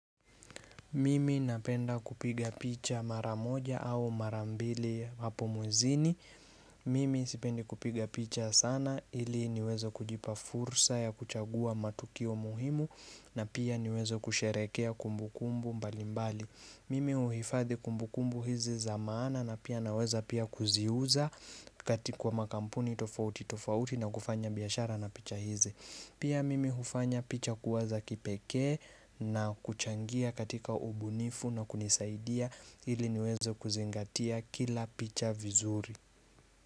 Mimi napenda kupiga picha mara moja au mara mbili hapo mwezini. Mimi sipendi kupiga picha sana ili niweze kujipa fursa ya kuchagua matukio muhimu na pia niweze kusherehekea kumbukumbu mbalimbali. Mimi uhifadhi kumbukumbu hizi za maana na pia naweza pia kuziuza kati kuwa makampuni tofauti tofauti na kufanya biashara na picha hizi. Pia mimi hufanya picha kuwaza kipekee na kuchangia katika ubunifu na kunisaidia ili niweze kuzingatia kila picha vizuri.